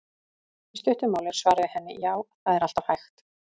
Í stuttu máli er svarið við henni: Já, það er alltaf hægt.